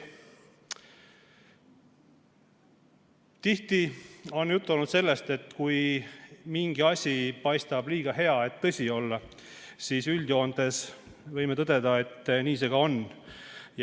Tihti on juttu olnud sellest, et kui mingi asi paistab liiga hea, et tõsi olla, siis üldjoontes võime tõdeda, et nii see ka on.